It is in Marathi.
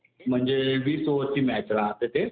म्हणजे वीस ओव्हरची मॅच राहते ते.